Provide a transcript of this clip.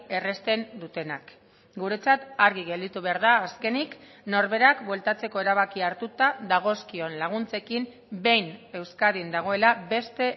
errazten dutenak guretzat argi gelditu behar da azkenik norberak bueltatzeko erabakia hartuta dagozkion laguntzekin behin euskadin dagoela beste